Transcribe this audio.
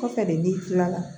Kɔfɛ de n'i kilala